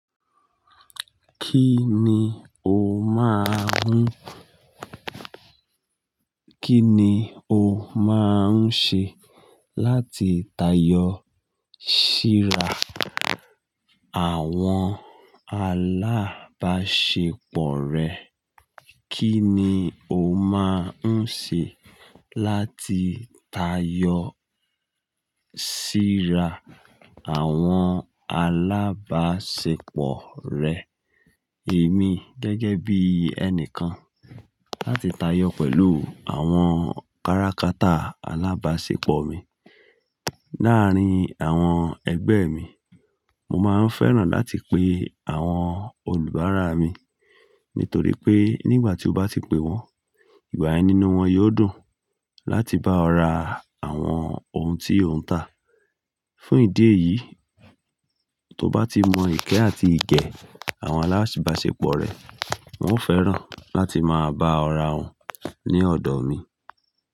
Kí ni o máa ń, kí ni o máa ń ṣe láti tayọ síra àwọn alábáṣepọ̀ rẹ? Kí ni o máa ń ṣe láti tayọ síra àwọn alábáṣepọ̀ rẹ? Èmi gẹ́gẹ́ bí ẹnìkan, láti tayọ pẹ̀lú àwọn káràkátà alábáṣepọ̀ mi. Láàárín àwọn ẹgbẹ́ mi, mo máa ń fẹ́ràn láti pe àwọn olùbáara mi, nítorí pé nígbà tí o bá ti pe wọn, ìgbà yen nínú wọn yóò dùn láti bá ọ ra àwọn ohun tí ó ń ta. Fún ìdí èyí, tó bá ti mọ ìkẹ́ àti ìgẹ́ àwọn alábáṣepọ̀ rẹ, wọn ó fẹ́ràn láti máa bá ọ ra ohun ní ọ̀dọ̀ mi.